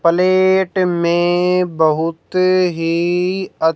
plate में बहुत ही अत--